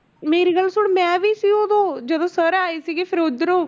ਮੇਰੀ ਗੱਲ ਸੁਣ ਮੈਂ ਵੀ ਸੀ ਉਦੋਂ ਜਦੋਂ sir ਆਏ ਸੀਗੇ ਫਿਰ ਉੱਧਰੋਂ